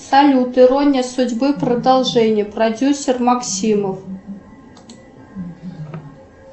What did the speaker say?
салют ирония судьбы продолжение продюсер максимов